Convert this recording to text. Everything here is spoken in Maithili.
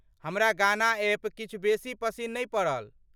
हमरा गाना एप किछु बेसी पसिन नहि पड़ल।